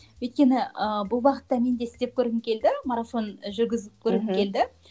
өйткені ыыы бұл бағытта мен де істеп көргім келді марафон ы жүргізіп көргім келді